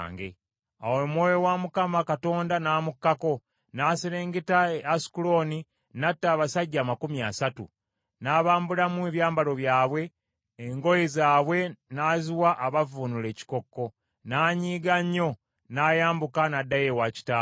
Awo Omwoyo wa Mukama Katonda n’amukkako, n’aserengeta e Asukulooni n’atta abasajja amakumi asatu, n’abambulamu ebyambalo byabwe, engoye zaabwe n’aziwa abavvuunula ekikokko. N’anyiiga nnyo, n’ayambuka n’addayo ewa kitaawe.